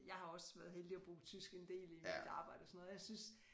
Jeg har også været heldig at bruge tysk en del i mit arbejde og sådan noget og jeg synes